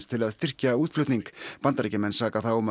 til að styrkja útflutning Bandaríkjamenn saka þá um